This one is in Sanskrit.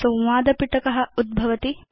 संवाद पिटक उद्घघटति